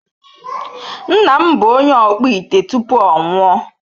Nna m bụ onye ọkpụ ite tupu ọ nwụọ.